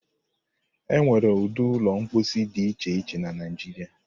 E nwere ụdị ụlọ mposi dị iche iche na Naịjiria.